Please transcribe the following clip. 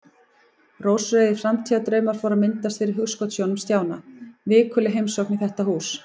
Rósrauðir framtíðardraumar fóru að myndast fyrir hugskotssjónum Stjána: Vikuleg heimsókn í þetta hús.